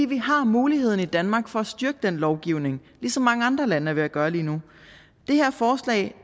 vi har mulighederne i danmark for at styrke den lovgivning ligesom mange andre lande er ved at gøre lige nu det her forslag